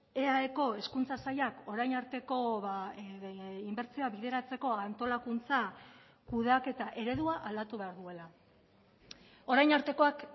eaeko hezkuntza sailak orain arteko inbertsioa bideratzeko antolakuntza kudeaketa eredua aldatu behar duela orain artekoak